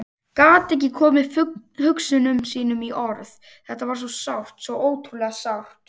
Gat ekki komið hugsunum sínum í orð, þetta var svo sárt, svo ótrúlega sárt.